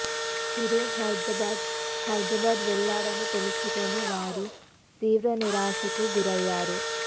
చిరు హైదరాబాద్ హైదరాబాద్ వెళ్లాడని తెలుసుకొని వారు తీవ్ర నిరాశకు గురయ్యారు